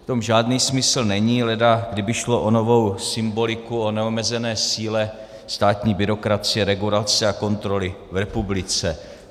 V tom žádný smysl není, leda kdyby šlo o novou symboliku o neomezené síle státní byrokracie, regulace a kontroly v republice.